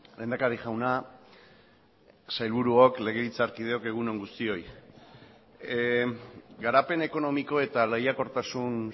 lehendakari jauna sailburuok legebiltzarkideok egun on guztioi garapen ekonomiko eta lehiakortasun